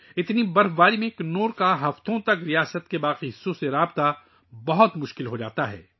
اتنی زیادہ برف باری کے ساتھ، کنور کا ریاست کے باقی حصوں سے رابطہ ہفتوں تک بہت مشکل ہو جاتا ہے